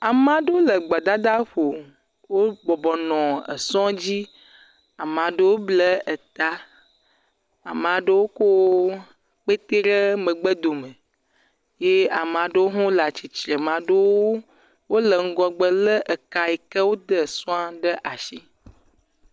Ame aɖewo le gbedadaƒo, wobɔbɔ nɔ sɔ dzi, ame aɖewo bla ta, ame aɖewo ko kpetɛ ɖe megbe dome ye ame aɖewo le atsitre, ame aɖewo wole ŋgɔgbe lé ka yi ke wode sɔ̃a ɖe asi.